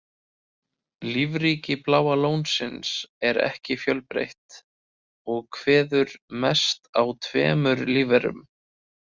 Lífríki Bláa lónsins er ekki fjölbreytt og kveður mest að tveimur lífverum.